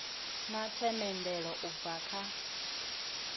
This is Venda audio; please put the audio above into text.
na themendelo u bva kha